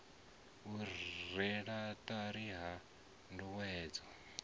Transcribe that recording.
u rwelwa ṱari ha ndayotewa